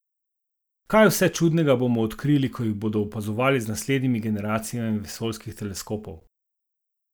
Kaj vse čudnega bomo odkrili, ko jih bodo opazovali z naslednjimi generacijami vesoljskih teleskopov?